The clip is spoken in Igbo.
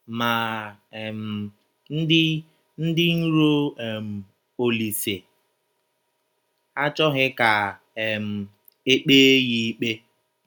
Ma um, ndị ndị iro um Ọlise achọghị ka um e kpee ya ikpe.